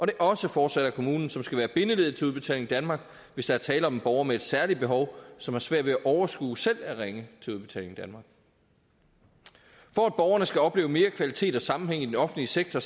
det også fortsat er kommunen som skal være bindeleddet til udbetaling danmark hvis der er tale om en borger med et særligt behov som har svært ved at overskue selv at ringe til udbetaling danmark for at borgerne skal opleve mere kvalitet og sammenhæng i den offentlige sektor